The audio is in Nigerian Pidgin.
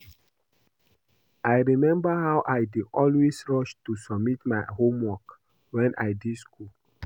I remember how I dey always rush to submit my homework wen I dey school